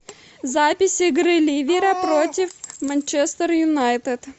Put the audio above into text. запись игры ливера против манчестер юнайтед